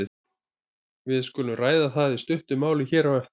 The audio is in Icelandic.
Við skulum ræða það í stuttu máli hér á eftir.